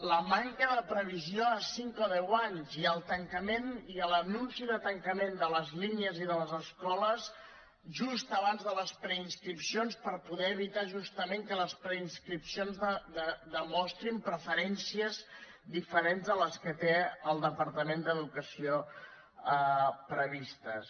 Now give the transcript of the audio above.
la manca de previsió a cinc o deu anys i l’anunci de tancament de les línies i de les escoles just abans de les preinscripcions per poder evitar justament que les preinscripcions demostrin preferències diferents de les que té el departament d’educació previstes